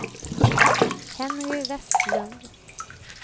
Henry Westlund